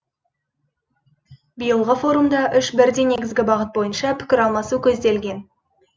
биылғы форумда үш бірдей негізгі бағыт бойынша пікір алмасу көзделген